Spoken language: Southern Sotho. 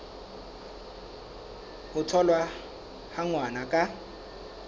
ho tholwa ha ngwana ka